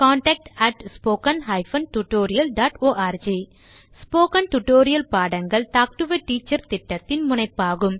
contact spoken hyphen tutorial dot org spoken tutorial பாடங்கள் talk to a teacher திட்டத்தின் முனைப்பாகும்